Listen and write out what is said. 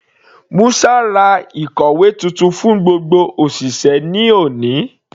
Musa ra ìkòwé titun fún gbogbo òṣìṣẹ́ ní òní.